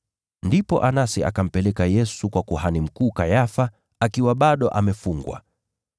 Ndipo Anasi akampeleka Yesu kwa kuhani mkuu Kayafa, akiwa bado amefungwa.